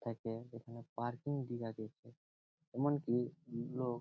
থাকে যেখানে পার্কিং টি লাগিছে এমনকি লোক --